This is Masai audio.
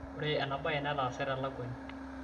ore enaa baye netaase telekuani